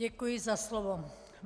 Děkuji za slovo.